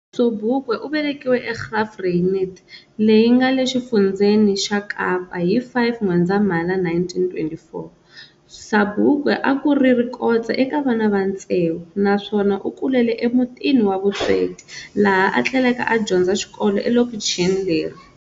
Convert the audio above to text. Sobukwe uvelekiwe eGraaff-Reinet leyi nge Xifundzeni xa Kapa hi 5 N'wendzamhala 1924. Sabukwe akuri rikotse eka vana va ntsevu, naswona ukulele e mutini wa vusweti laha athleleke a dyondza xikolo elokichini leri.